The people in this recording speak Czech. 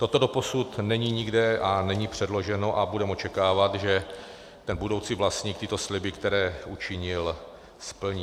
Toto doposud není nikde a není předloženo a budeme očekávat, že ten budoucí vlastník tyto sliby, které učinil, splní.